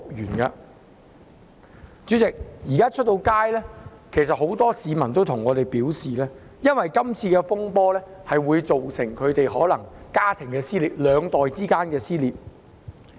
代理主席，其實在外間，很多市民也向我表示因為這次風波，造成他們家庭內兩個世代之間的撕裂。